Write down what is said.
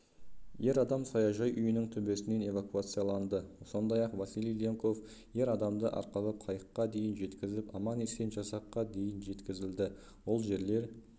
ер адам саяжай үйінің төбесінен эвакуацияланды сондай-ақ василий ленков ер адамды арқалап қайыққа дейін жеткізіп аман-есен жасаққа дейін жеткізілді ол жердер